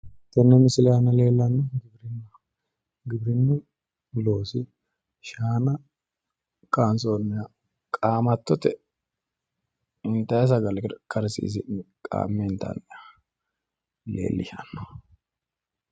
Tenne misile aana leellannohu giwirinnu loosi shaana kaansonniha qaamattote intayi sagalera karsiisi'ne qaamme intanniha leellishanno